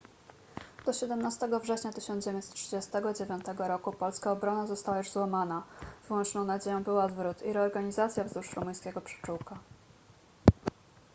do 17 września 1939 roku polska obrona została już złamana wyłączną nadzieją był odwrót i reorganizacja wzdłuż rumuńskiego przyczółka